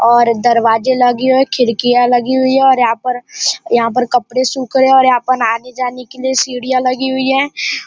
और दरवाजे लगी हुई है खिड़कियां लगी हुई है और यहाँ पर यहां पर कपड़े सुख रहे है और यहाँ पर आने जाने के लिए सीढ़ियां लगी हुई है।